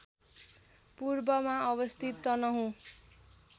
पूर्वमा अवस्थित तनहुँ